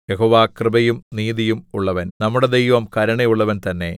യഹോവ കൃപയും നീതിയും ഉള്ളവൻ നമ്മുടെ ദൈവം കരുണയുള്ളവൻ തന്നെ